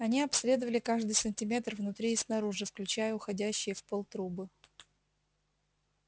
они обследовали каждый сантиметр внутри и снаружи включая уходящие в пол трубы